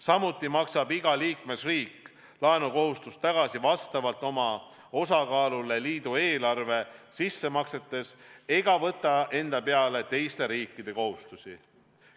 Samuti maksab iga liikmesriik laenu tagasi vastavalt oma osakaalule liidu eelarve sissemaksetes ega võta enda peale teiste riikide kohustusi.